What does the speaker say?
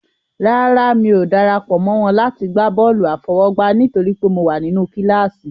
Rárá, mi ò dara pọ̀ mọ́ wọn láti gbá bọ́ọ̀lù àfọwọ́gbá nítorí pé mo wà nínú kíláàsì.